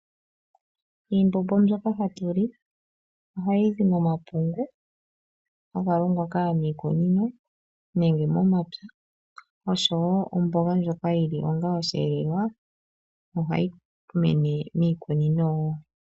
Iimbombo mbyoka hatu li ohayi zi momapungu haga longwa kaanikunino nenge momapya oshowo omboga ndjoka yi li onga oshiyelelwa ohayi mene miikunino.